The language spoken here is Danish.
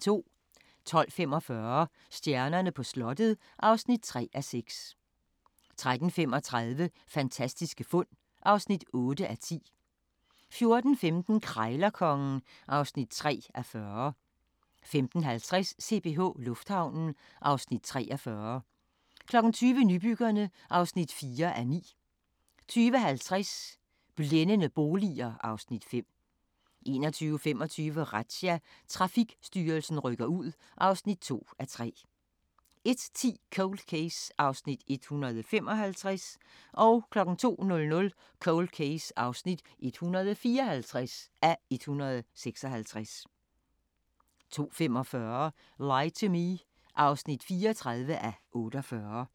12:45: Stjernerne på slottet (3:6) 13:35: Fantastiske fund (8:10) 14:15: Krejlerkongen (3:40) 15:50: CPH Lufthavnen (Afs. 43) 20:00: Nybyggerne (4:9) 20:50: Blændende boliger (Afs. 5) 21:25: Razzia – Trafikstyrelsen rykker ud (2:3) 01:10: Cold Case (155:156) 02:00: Cold Case (154:156) 02:45: Lie to Me (34:48)